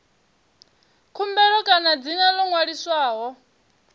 khumbelo kana dzina ḽo ṅwaliswaho